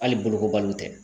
Hali bolokobaliw tɛ